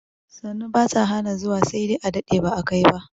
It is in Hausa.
Sannu bata hana zuwa sai dai a dade ba a kai ba